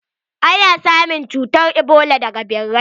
Ana samun cutar ebola daga ɓirai.